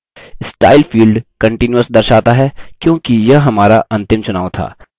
style field continuous दर्शाता है क्योंकि यह हमारा अंतिम चुनाव था